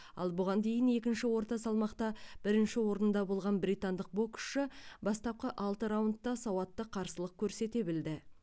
ал бұған дейін екінші орта салмақта бірінші орында болған британдық боксшы бастапқы алты раундта сауатты қарсылық көрсете білді